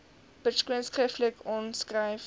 persoon skriftelik aanskryf